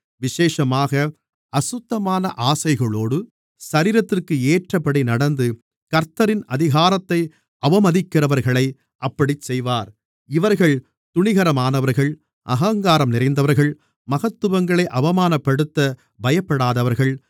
விசேஷமாக அசுத்தமான ஆசைகளோடு சரீரத்திற்கேற்றபடி நடந்து கர்த்தரின் அதிகாரத்தை அவமதிக்கிறவர்களை அப்படிச் செய்வார் இவர்கள் துணிகரமானவர்கள் அகங்காரம் நிறைந்தவர்கள் மகத்துவங்களை அவமானப்படுத்த பயப்படாதவர்கள்